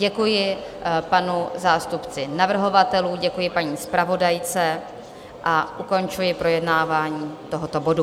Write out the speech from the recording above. Děkuji panu zástupci navrhovatelů, děkuji paní zpravodajce a ukončuji projednávání tohoto bodu.